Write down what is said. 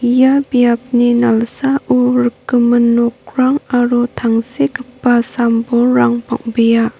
ia biapni nalsao rikgimin nokrang aro tangsekgipa sam-bolrang bang·bea.